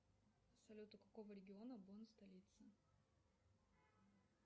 салют у какого региона бон столица